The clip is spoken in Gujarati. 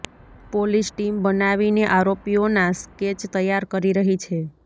પોલીસ ટીમ બનાવીને આરોપીઓના સ્કેચ તૈયાર કરી રહી છે